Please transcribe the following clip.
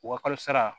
U ka kalo sara